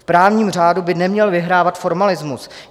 V právním řádu by neměl vyhrávat formalismus.